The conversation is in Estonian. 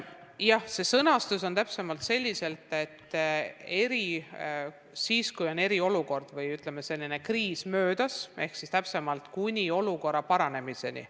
Jah, see sõnastus on täpsemalt selline, et siis, kui eriolukord või kriis on möödas, ehk täpsemalt, kuni olukorra paranemiseni.